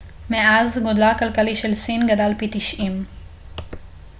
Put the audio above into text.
מאז גודלה הכלכלי של סין גדל פי 90